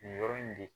Nin yɔrɔ in de